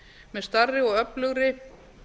með stærri og öflugri